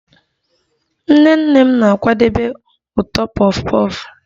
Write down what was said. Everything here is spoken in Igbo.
Nnene m na-akwadebe ụtọ puff puff